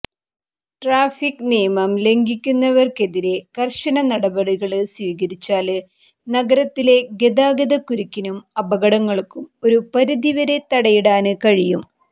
traffic നിയമം ലംഘിക്കുന്നവര്ക്കെതിരെ കര്ശന നടപടികള് സ്വീകരിച്ചാല് നഗരത്തിലെ ഗതാഗതക്കുരുക്കിനും അപകടങ്ങള്ക്കും ഒരുപരിധിവരെ തടയിടാന് കഴിയും